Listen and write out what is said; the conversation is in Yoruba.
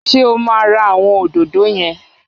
Ṣé o máa ra àwọn òdòdó yẹn?